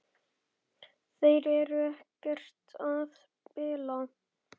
Þeir eru ekkert að spila?